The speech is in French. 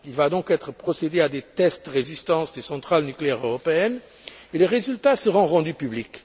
Il va donc être procédé à des tests de résistance des centrales nucléaires européennes et les résultats seront rendus publics.